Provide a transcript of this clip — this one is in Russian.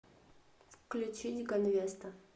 включить ганвеста